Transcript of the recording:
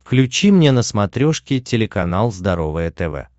включи мне на смотрешке телеканал здоровое тв